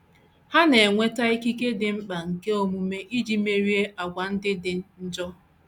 Ha na - enweta ikike dị mkpa nke omume iji merie àgwà ndị dị njọ.